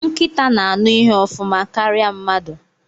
Nkịta na-aṅụ ihe ofuma karịa mmadụ.